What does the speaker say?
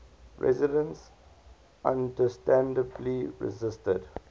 residents understandably resisted